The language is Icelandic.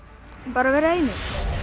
bara að vera einir